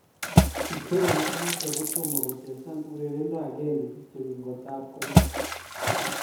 Kipserem inotok kotoma kochesang urerendo akenge kityo ingotap koit